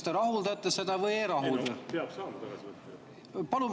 Ma tahaksin kohe teada, kas te rahuldate selle või ei rahulda.